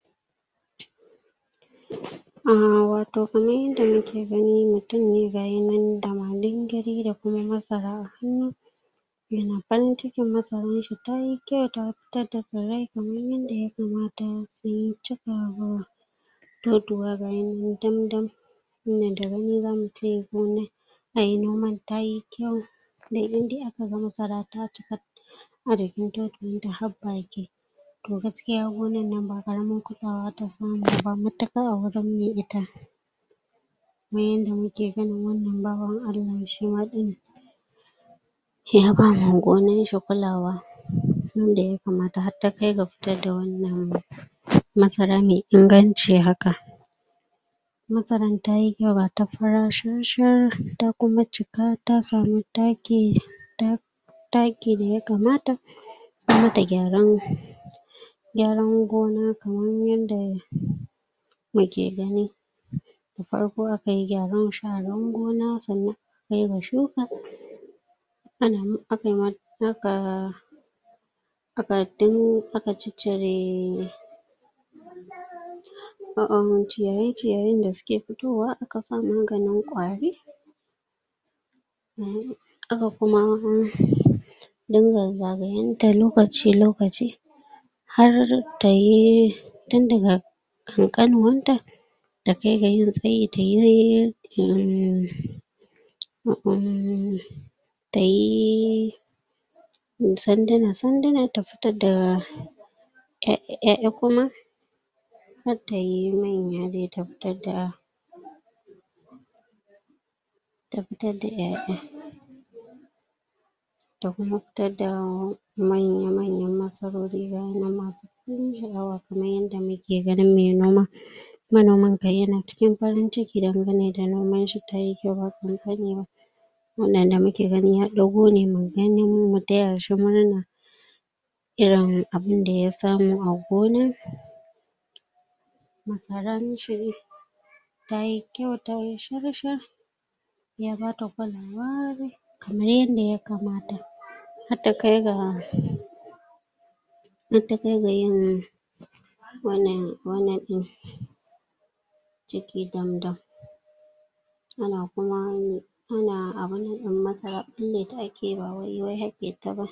um wato kamar inda mu ke gani mutum ne ga yi nan da malinigiri da kuma masara a hannu ya na farinciki masaran shi ta yi kyau ta fitar da farai kamar yanda ya kamata to tuwa ga yi nan damdam wannan da gani za mu ce gona, a yi noman, ta yi kyau da inda a ka gama karata ta a dakin totuwar ta har baƙi toh gaskiya gonan nan ba kusawa ta samu ba, mataƙar a gurim mai ita kuma yanda mu ke ganin wannan bawan Allah shi ma din ya bawa gonan shi kulawa tun da ya kamata har ta kai ga fitar da wannan masara mai inganci haka masaran ta yi kyau, ga ta fara sharshar, da kuma cika ta samu takki, ta takki da ya kamata kuma da gyaran gyaran gona kamar yanda mu ke gani da farko a ka yi gyaran sharan gona tsannan a ka yi ga shuka a na mun, a kai ma, a ka a ka din, a ka cicire ciyaye-ciyaye da suke fitowa a kasa maganin kwari a ka kuma din ga zagaye da lokaci lokaci har ta yi tun da ga kan kanuwar ta dai kai gayin tsayi ta dai um maanar ta yi sandana sandana, ta fitar da ƴa ƴaƴa kuma har ta yi manya dai ta fitar da ta fitar da ƴaƴa ta kuma fitar da manya manya masarori bayan mun yi shaawa kamar yanda mu ke ganin mai noma manoman kai ya na cikin farinciki daganne da noman shi ta yi kyau ba ƙaƙani ba wannan da mu ke gani ya ɗago ne, mu gani, mu taya shi murna Irin abun da ya samu a gona mu fara mishi ta yi kyau ta yi sharshar ya ba ta kamar yanda ya kamata har da kai ga mataƙar ga yin wannan wannan din ciki damdam a na kuma yini a na abunna din masara, kulle ta a ke ba wai, wai haƙe ta ba